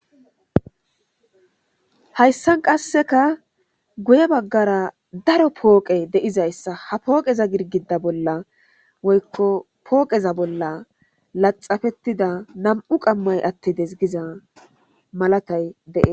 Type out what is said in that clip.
Hayssan qasseka guye baggara daro pooqe deizayssa ha pooqeza girgida bolla woykko pooqeza bolla laxafettida nam'u qammay attides giza malatay dee.